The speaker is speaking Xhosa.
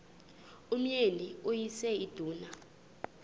umyeni uyise iduna